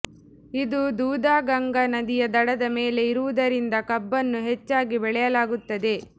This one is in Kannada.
ಇದು ದೂಧಗಂಗಾ ನದಿಯ ದಡದ ಮೇಲೆ ಇರುವದರಿಂದ ಕಬ್ಬನ್ನು ಹೆಚ್ಚಾಗಿ ಬೆಳೆಯಲಾಗುತ್ತದೆ